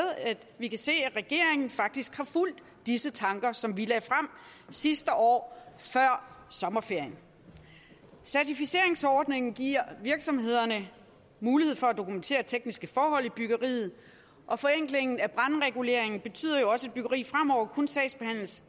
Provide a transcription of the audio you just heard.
vi kan se at regeringen faktisk har fulgt disse tanker som vi lagde frem sidste år før sommerferien certificeringsordningen giver virksomhederne mulighed for at dokumentere tekniske forhold i byggeriet og forenklingen af brandreguleringen betyder jo også at byggeri fremover kun sagsbehandles